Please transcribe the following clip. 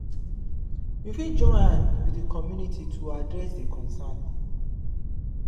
we fit join hand with di community to address di concern